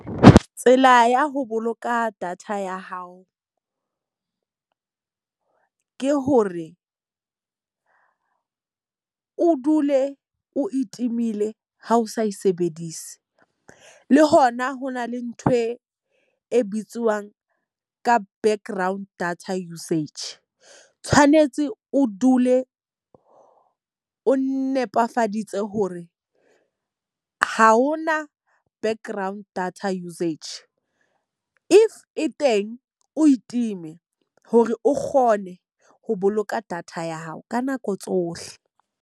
Tsela ya ho boloka data ya hao. Ke hore o dule o e timile ha o sa e sebedise. Le hona ho na le nthwe e bitsiwang ka background data usage. Tshwanetse o dule o nepefaditse hore ho ho na background data usage, if e teng o e time hore o kgone ho boloka data ya hao ka nako tsohle.